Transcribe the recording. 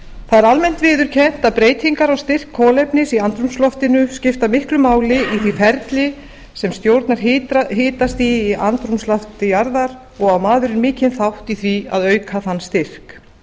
það er almennt viðurkennt að breytingar á styrk kolefnis í andrúmsloftinu skiptir miklu máli í því ferli sem stjórnar hitastigi í andrúmslofti jarðar og á maðurinn mikinn þátt í því að auka þann styrk